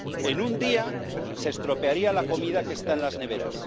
en un día se estropearía la comida que está en las neveras